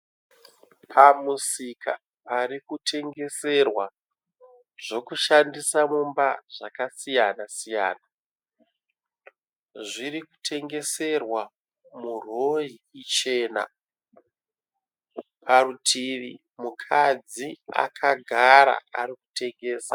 Pamusika parikutengeserwa zvokushandisa mumba zvakasiyana siyana. Zviri kutengeserwa murori ichena. Parutivi mukadzi akagara ari kutengesa